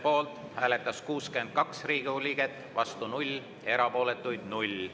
Poolt hääletas 62 Riigikogu liiget, vastu 0, erapooletuks jäi 0.